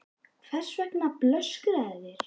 Hvers vegna blöskraði þér?